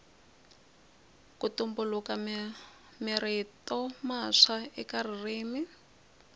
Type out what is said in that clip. ku tumbuluka mirito matswa eka ririmi